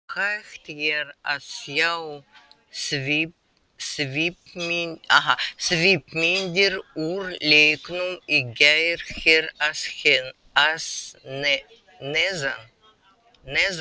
Hægt er að sjá svipmyndir úr leiknum í gær hér að neðan.